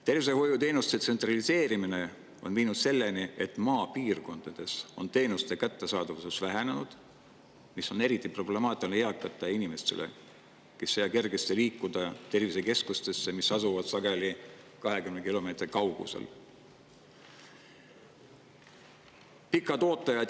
Tervishoiuteenuste tsentraliseerimine on viinud selleni, et maapiirkondades on teenuste kättesaadavus vähenenud, mis on eriti problemaatiline eakate inimeste jaoks, kes ei saa kergesti liikuda tervisekeskusesse, mis asub sageli 20 kilomeetri kaugusel.